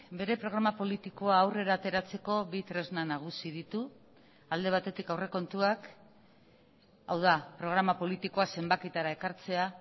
bere programa politikoa aurrera ateratzeko bi tresna nagusi ditu alde batetik aurrekontuak hau da programa politikoa zenbakietara ekartzea